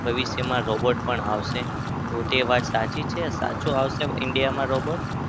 ભવિષ્યમાં robot પણ આવશે. તો તે વાત સાચી છે? સાચું આવશે india માં robot